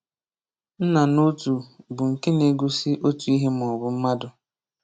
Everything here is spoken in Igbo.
Nna n’otu bụ nke na-egosi otu ihe maọbụ mmadụ.